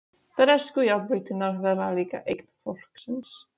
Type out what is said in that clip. Bresku járnbrautirnar verða líka eign fólksins.